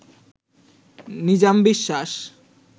Nizam Biswas